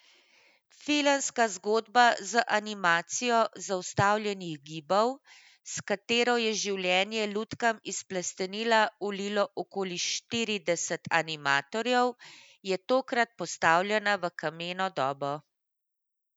Filmska zgodba z animacijo zaustavljenih gibov, s katero je življenje lutkam iz plastelina vlilo okoli štirideset animatorjev, je tokrat postavljena v kameno dobo.